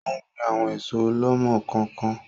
Ò ń gbìn àwọn èso ọ̀lọ́mọ-kọọ-kan